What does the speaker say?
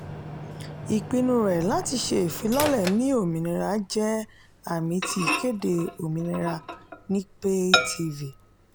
ìpinnu rẹ láti ṣé ìfilọ̀lẹ́ ní òmìnira jẹ́ àmì ti ìkéde òmìnira ni pay-tv.